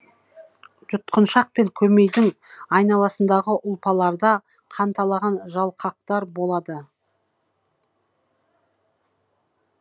жұткыншақ пен көмейдің айналасындағы ұлпаларда канталаған жалқактар болады